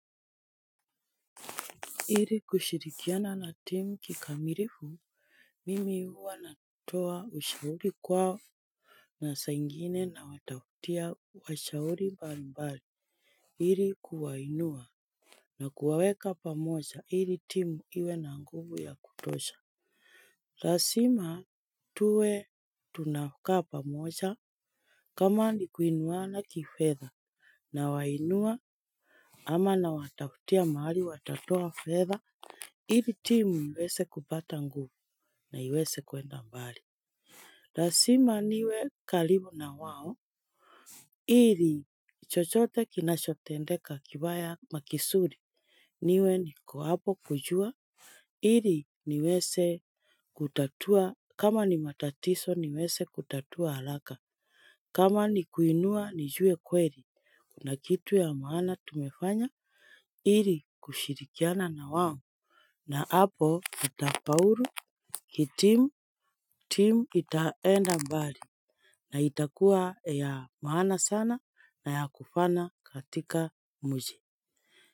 Ili kushirikiana na timu kikamilifu, mimi huwa natoa ushauri kwao. Na saa ingine nawatafutia washauri mbali mbali ili kuwainua na kuwaweka pamoja ili timu iwe na nguvu ya kutosha lazima tuwe tunakaa pamoja kama ni kuinuana kifedha nawainua. Ama nawatafutia mahali watatoa fedha ili timu iweze kupata nguvu na iweze kuenda mbali. Lazima niwe karibu na wao. Ili chochote kinachotendeka kibaya ama kizuri niwe niko hapo kujua. Iri niweze kutatua. Kama ni matatizo niweze kutatua haraka. Kama ni kuinua nijuwe kweli. Kuna kitu ya maana tumefanya. Iri kushirikiana na wawo. Na hapo itafaulu kitimu, timu itaenda mbali. Na itakuwa ya maana sana na ya kufaana katika mji.